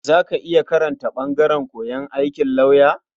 Za ka iya karanta ɓangaren koyon aikin lauya?